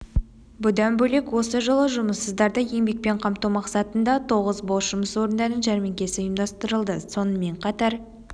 бұдан бөлек осы жылы жұмыссыздарды еңбекпен қамту мақсатында тоғыз бос жұмыс орындарының жәрмеңкесі ұйымдастырылды сонымен қатар